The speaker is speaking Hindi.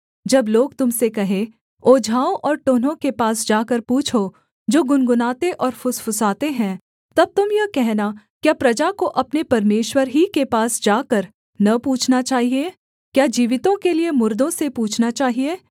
जब लोग तुम से कहें ओझाओं और टोन्हों के पास जाकर पूछो जो गुनगुनाते और फुसफुसाते हैं तब तुम यह कहना क्या प्रजा को अपने परमेश्वर ही के पास जाकर न पूछना चाहिये क्या जीवितों के लिये मुर्दों से पूछना चाहिये